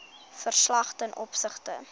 verslag ten opsigte